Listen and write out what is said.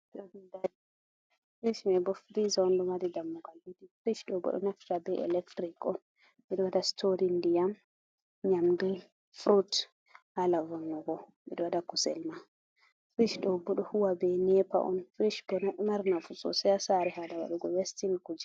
Firic may firiija on ,ɗo mari dammugal. Firic ɗo bo ɗo naftira be elektiric on, ɓe ɗo waɗa sitorin ndiyam, nyamu, furut haala vannugo. Ɓe ɗo waɗa kusel ma. Firic ɗo bo ɗo huuwa be neepa on. Firic may bo ɗo mari nafu sosay a saare, haala waɗugo westin kuje.